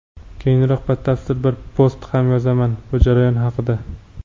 Keyinroq batafsil bir post ham yozaman bu jarayon haqida.